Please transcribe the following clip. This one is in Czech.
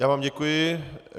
Já vám děkuji.